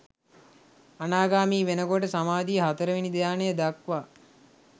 අනාගාමී වෙනකොට සමාධිය හතරවෙනි ධ්‍යානය දක්වා